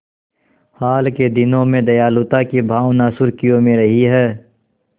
हाल के दिनों में दयालुता की भावना सुर्खियों में रही है